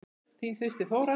Þín systir Þóra.